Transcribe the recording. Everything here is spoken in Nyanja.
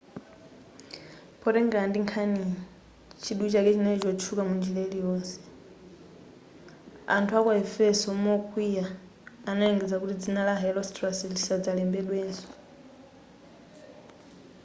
potengera ndi nkhaniyi chidwi chake chinali kutchuka munjira iliyonseyo.anthu aku aefeso mokwiya analengeza kuti dzina la herostratus lisadzalembedwenso